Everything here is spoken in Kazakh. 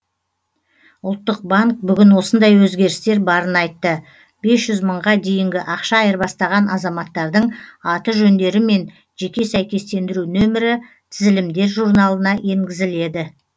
ұлттық банк бүгін осындай өзгерістер барын айтты бес жүз мыңға дейінгі ақша айырбастаған азаматтардың аты жөндері мен жеке сәйкестендіру нөмірі тізілімдер журналына енгізіледі